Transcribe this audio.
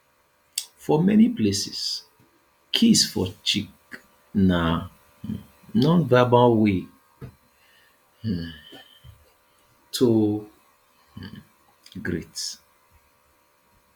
for many places kiss for cheek na um non verbal way um to um greet